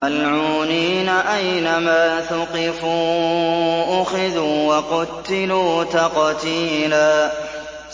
مَّلْعُونِينَ ۖ أَيْنَمَا ثُقِفُوا أُخِذُوا وَقُتِّلُوا تَقْتِيلًا